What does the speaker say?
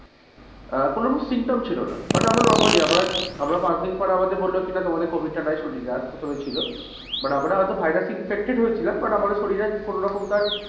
আহ কোনোরকম symptom ছিল না মানে আমরা normally আমরা পাঁচদিন পর আমাদের বললো কিনা তোমাদের covid টা নাই শরীরে আর প্রথমে ছিল but আমরা হয়তো virus infected হয়েছিলাম but আমাদের শরীরে কোনোরকম আর,